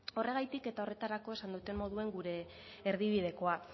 horregatik eta horretarako esan duen moduan gure erdibidekoa